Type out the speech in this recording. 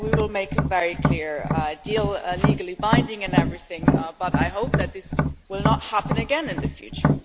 We will make a very clear deal, legally binding and everything, but I hope that this will not happen again in the future.